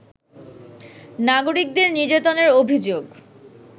নাগরিকদের নির্যাতনের অভিযোগ